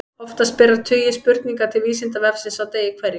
Oftast berast nokkrir tugir spurninga til Vísindavefsins á degi hverjum.